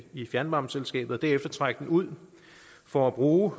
i fjernvarmeselskabet og derefter trækker den ud for at bruge